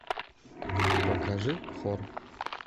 покажи хор